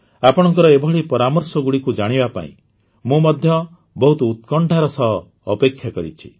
ଆପଣଙ୍କ ଏଭଳି ପରାମର୍ଶଗୁଡ଼ିକୁ ଜାଣିବା ପାଇଁ ମୁଁ ମଧ୍ୟ ବହୁତ ଉତ୍କଣ୍ଠାର ସହ ଅପେକ୍ଷା କରିଛି